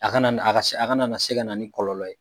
A kana ni a ka se a kana na se kana ni kɔlɔlɔ ye.